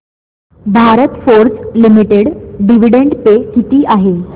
Bharat Forge limited dividend पे किती आहे